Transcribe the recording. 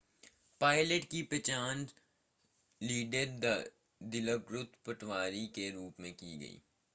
pilot की पहचान squadron leader दिलोकृत पटावी के रूप में की गई